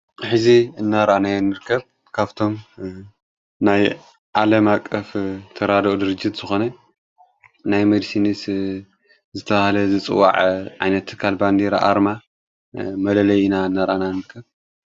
ሕዚ እናርኣናዮ ንርከብ ካብቶም ናይ ዓለማ ኣቀፍ ተራድኦ ድርጅት ዝኾነ ናይ መንሲዲንስ ዝተብሃለ ዝጽዋዕ ዓይነት ትካል ባንዴራ ኣርማ መለለይ ኢና እናርኣና ንርከብ::